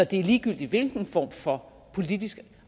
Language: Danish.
det ligegyldigt hvilken form for politisk